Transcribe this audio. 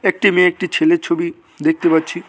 একটি মেয়ে একটি ছেলের ছবি দেখতে পাচ্ছি।